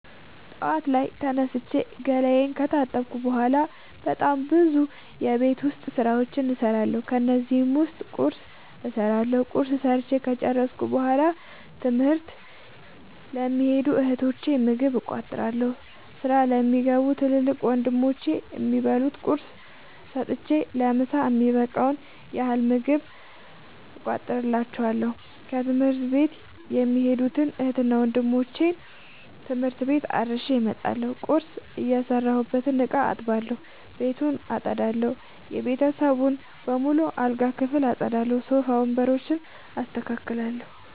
ጠዋት ላይ ተነስቼ ገላየን ከታጠብኩ በሗላ በጣም ብዙ የቤት ዉስጥ ስራዎችን እሠራለሁ። ከነዚህም ዉስጥ ቁርስ እሠራለሁ። ቁርስ ሠርቸ ከጨረሥኩ በሗላ ትምህርት ለሚኸዱ እህቶቸ ምግብ እቋጥርላቸዋለሁ። ስራ ለሚገቡ ትልቅ ወንድሞቼም የሚበሉት ቁርስ ሰጥቸ ለምሣ የሚበቃቸዉን ያህል ምግብ እቋጥርላቸዋለሁ። ትምህርት ቤት የሚኸዱትን እህትና ወንድሞቼ ትምህርት ቤት አድርሼ እመጣለሁ። ቁርስ የሰራሁበትን እቃ አጥባለሁ። ቤቱን አጠዳለሁ። የቤተሰቡን በሙሉ የአልጋ ክፍል አጠዳለሁ። ሶፋ ወንበሮችን አስተካክላለሁ።